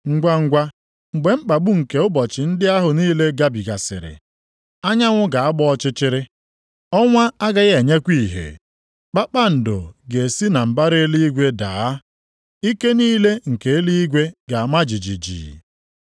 “Ngwangwa mgbe mkpagbu nke ụbọchị ndị ahụ niile gabigasịrị, “ ‘anyanwụ ga-agba ọchịchịrị. Ọnwa agaghị enyekwa ìhè, kpakpando ga-esi na mbara eluigwe daa, ike niile nke eluigwe ga-ama jijiji.’ + 24:29 \+xt Aịz 13:10; 34:4\+xt*